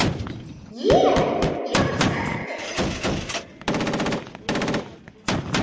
Ég. ég var sendill